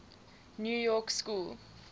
new york school